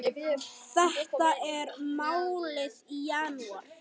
Þetta er málið í janúar.